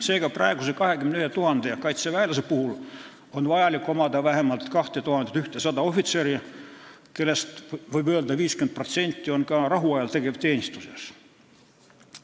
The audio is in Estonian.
Seega, praeguse 21 000 kaitseväelase korral on vaja vähemalt 2100 ohvitseri, kellest, võib öelda, 50% on ka rahuajal tegevteenistuses.